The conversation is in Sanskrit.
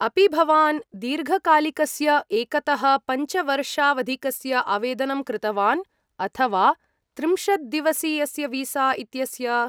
अपि भवान् दीर्घकालिकस्य एकतः पञ्चवर्षावधिकस्य आवेदनं कृतवान् अथ वा त्रिंशद्दिवसीयस्य वीसा इत्यस्य?